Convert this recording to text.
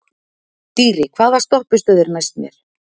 Dýri, hvaða stoppistöð er næst mér?